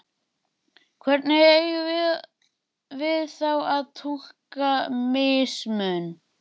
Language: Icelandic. Hvernig eigum við þá að túlka mismun?